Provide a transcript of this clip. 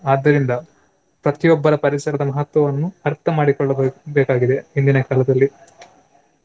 ಆದ್ದರಿಂದ ಪ್ರತಿಯೊಬ್ಬರ ಪರಿಸರದ ಮಹತ್ವವನ್ನು ಅರ್ಥಮಾಡಿಕೊಳ್ಳಬೇ~ ಬೇಕಾಗಿದೆ ಇಂದಿನ ಕಾಲದಲ್ಲಿ.